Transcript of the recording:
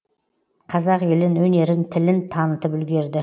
қазақ елін өнерін тілін танытып үлгерді